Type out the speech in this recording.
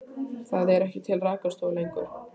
Það eru ekki til rakarastofur lengur.